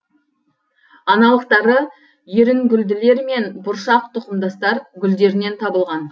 аналықтары ерінгүлділер мен бұршақ тұқымдастар гүлдерінен табылған